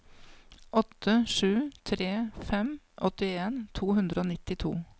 åtte sju tre fem åttien to hundre og nittito